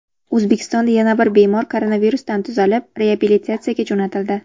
O‘zbekistonda yana bir bemor koronavirusdan tuzalib, reabilitatsiyaga jo‘natildi.